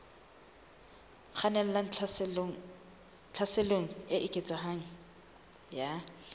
kgannelang tlhaselong e eketsehang ya